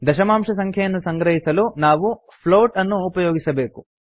ದಶಮಾಂಶ ಸಂಖ್ಯೆಯನ್ನು ಸಂಗ್ರಹಿಸಲು ನಾವು ಫ್ಲೋಟ್ ಅನ್ನು ಉಪಯೋಗಿಸಬೇಕು